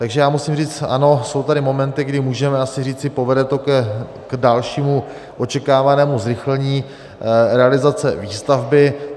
Takže já musím říct ano, jsou tady momenty, kdy můžeme asi říci: povede to k dalšímu očekávanému zrychlení realizace výstavby.